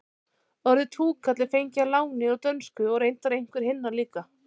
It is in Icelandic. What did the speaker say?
orðið túkall er fengið að láni úr dönsku og reyndar einhver hinna líka